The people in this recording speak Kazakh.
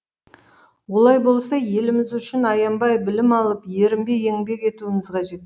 олай болса еліміз үшін аянбай білім алып ерінбей еңбек етуіміз қажет